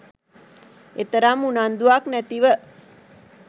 එතරම් උනන්දුවක් නැතිව